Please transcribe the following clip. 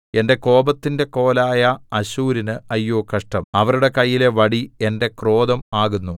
എന്റെ കോപത്തിന്റെ കോലായ അശ്ശൂരിന് അയ്യോ കഷ്ടം അവരുടെ കൈയിലെ വടി എന്റെ ക്രോധം ആകുന്നു